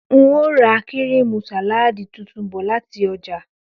N óò ra kíríìmù sàláàdì tuntun bò̩ láti o̩jà